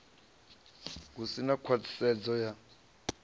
hu si na khwaṱhisedzo ya